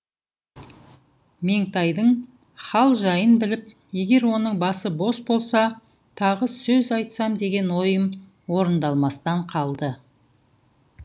меңтайдың хал жайын біліп егер оның басы бос болса тағы сөз айтсам деген ойым орындалмастан қалды